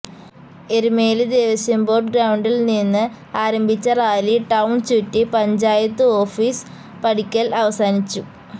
Erumeli Devaswom board ഗ്രൌണ്ടില്നിന്ന് ആരംഭിച്ച rally town ചുറ്റി പഞ്ചായത്ത് ഓഫിസ് പടിക്കല് അവസാനിച്ചു